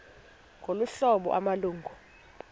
ngolu hlobo amalungu